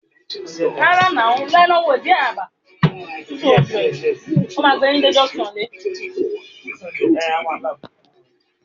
Bẹẹni, òun yóò kọ ẹkọ nípa ibaraẹnisọrọ ìbálòpọ̀